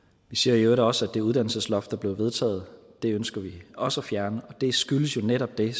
vi siger i øvrigt også at det uddannelsesloft der blev vedtaget ønsker vi også at fjerne og det skyldes jo netop det